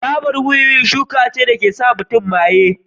Tabar wiwi shuka ce da ke sa mutum maye.